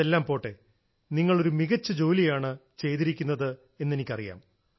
അതെല്ലാം പോട്ടേ നിങ്ങൾ ഒരു മികച്ച ജോലിയാണ് ചെയ്തിരിക്കുന്നത് എന്നെനിക്കറിയാം